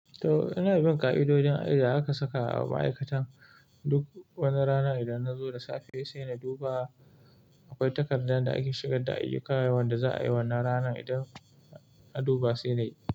To ina bin ka'idojin aida aka saka a ma'aikatan duk wani rana idan nazo da safe sai na duba akwai takardun da ake shigar da ayyuka wanda za a yi wannan rana idan na duba sai nayi.